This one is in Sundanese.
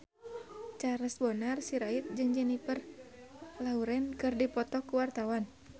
Charles Bonar Sirait jeung Jennifer Lawrence keur dipoto ku wartawan